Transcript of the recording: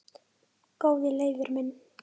Góði Leifur minn